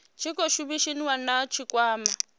tshi khou shumisaniwa na tshikwama